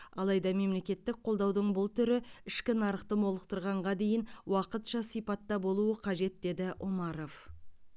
алайда мемлекеттік қолдаудың бұл түрі ішкі нарықты молықтырғанға дейін уақытша сипатта болуы қажет деді омаров